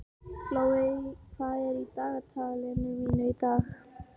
Glóey, hvað er í dagatalinu mínu í dag?